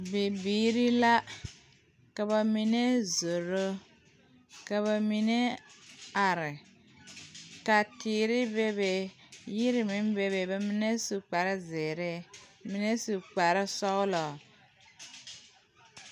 Bibiiri la ka ba mine zoro, ka ba mine are, ka teere be be meŋ bebe ba mine. sue kpare zeɛre mine kpare sɔglɔ